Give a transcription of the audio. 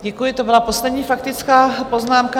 Děkuji, to byla poslední faktická poznámka.